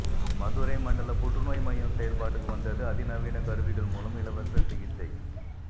மதுரை மண்டல புற்றுநோய் மையம் செயல்பாட்டுக்கு வந்தது அதிநவீன கருவிகள் மூலம் இலவச சிகிச்சை